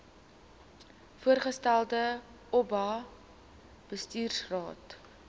voorgestelde oba bestuursraad